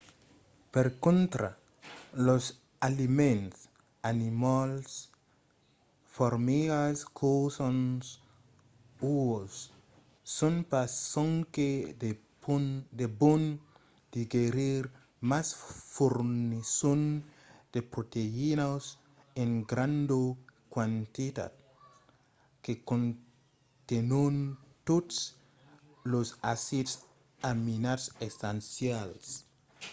per contra los aliments animals formigas cussons uòus son pas sonque de bon digerir mas fornisson de proteïnas en granda quantitat que contenon totes los acids aminats essencials